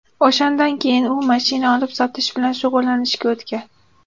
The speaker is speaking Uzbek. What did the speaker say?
O‘shandan keyin u mashina olib-sotish bilan shug‘ullanishga o‘tgan.